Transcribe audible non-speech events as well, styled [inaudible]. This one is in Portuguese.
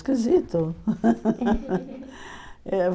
Esquisito. [laughs]